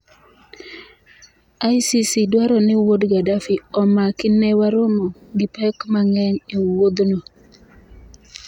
ICC dwaro ni wuod Gaddafi omaki Ne waromo gi pek mang’eny e wuothno